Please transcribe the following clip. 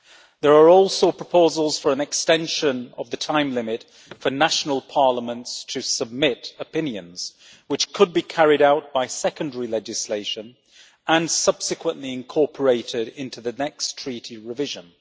There are also proposals for an extension of the time limit for national parliaments to submit opinions which could be carried out by secondary legislation and subsequently incorporated into the next treaty revision.